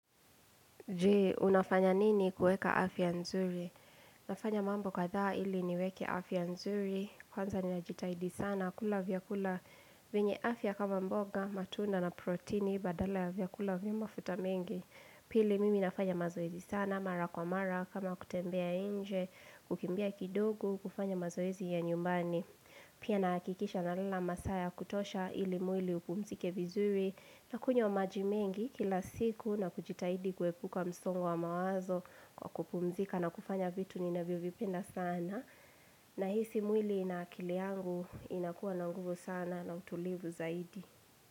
Je, unafanya nini kuweka afya nzuri? Nafanya mambo kadhaa ili niweke afya nzuri, kwanza ninajitahidi sana kula vyakula vyenye afya kama mboga, matunda na proteini, badala ya vyakula vya mafuta mengi. Pili mimi nafanya mazoezi sana, mara kwa mara, kama kutembea nje, kukimbia kidogo, kufanya mazoezi ya nyumbani. Pia nahakikisha nalala masaa ya kutosha ili mwili upumzike vizuri. Nakunywa maji mengi kila siku na kujitahidi kuepuka msongo wa mawazo kwa kupumzika na kufanya vitu ninavyovipenda sana, nahisi mwili na akili yangu inakuwa na nguvu sana na utulivu zaidi.